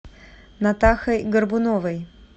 натахой горбуновой